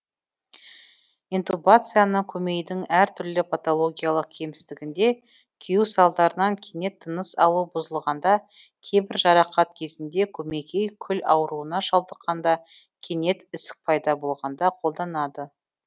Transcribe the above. интубацияны көмейдің әр түрлі патологиялық кемістігінде күю салдарынан кенет тыныс алу бұзылғанда кейбір жарақат кезінде көмекей күл ауруына шалдыққанда кенет ісік пайда болғанда қолданады